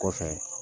Kɔfɛ